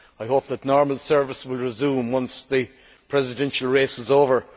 I hope that normal service will resume once the presidential race is over.